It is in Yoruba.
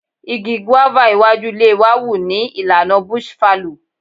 Igi guava iwájú ilé wa wù ní ìlànà bush fallow.